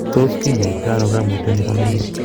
Tos kinyaita ono koimutioni bo melik?